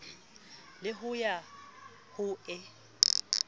le ho ya ho e